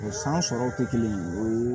O san sɔrɔw tɛ kelen ye o